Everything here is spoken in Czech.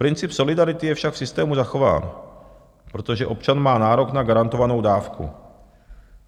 Princip solidarity je však v systému zachován, protože občan má nárok na garantovanou dávku.